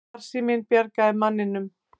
Farsíminn bjargaði manninum